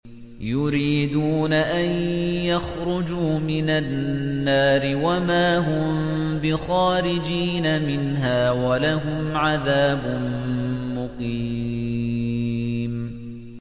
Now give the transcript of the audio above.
يُرِيدُونَ أَن يَخْرُجُوا مِنَ النَّارِ وَمَا هُم بِخَارِجِينَ مِنْهَا ۖ وَلَهُمْ عَذَابٌ مُّقِيمٌ